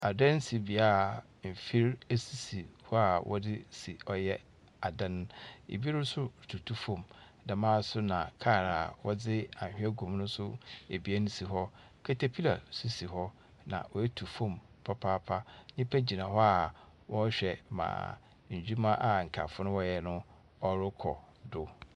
Ɛdan si beaeɛ a mfir si hɔ a wɔdze si ɔyɛ adan. Ebi nso tutu fam. Dɛm ara nso na kar a wɔdze anhwea gu mu nso abien si hɔ. Katapila nso si hɔ na ɔatufam papaapa. Nnipa gyina hɔ wɔrehwɛ ma adwuma a nkaafo no wɔreyɛ kɔ do.